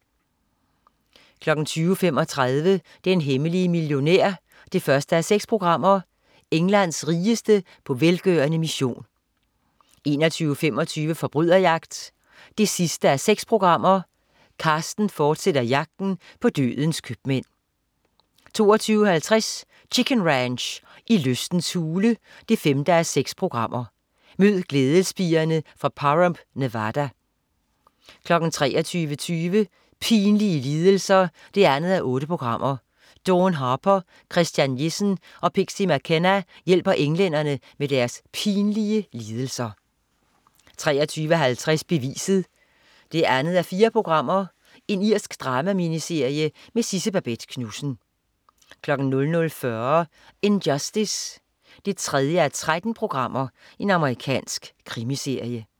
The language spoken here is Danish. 20.35 Den hemmelige millionær 1:6. Englands rigeste på velgørende mission 21.25 Forbryderjagt 6:6. Carsten fortsætter jagten på dødens købmænd 22.50 Chicken Ranch. I lystens hule 5:6. Mød glædespigerne fra Pahrump, Nevada 23.20 Pinlige lidelser 2:8. Dawn Harper, Christian Jessen og Pixie McKenna hjælper englænder med deres pinlige lidelser 23.50 Beviset 2:4. Irsk drama-miniserie med Sidse Babett Knudsen 00.40 In Justice 3:13. Amerikansk krimiserie